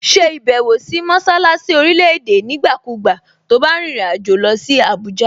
Ṣe ìbẹ̀wò sí mọṣálásí orílẹ̀-èdè nígbàkúùgbà to bá rìnrìn àjò lọ sí Àbújá!